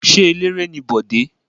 Ṣé eléré ni Bọ̀dé?